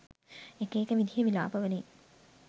එක එක විදිහේ විලාප වලින්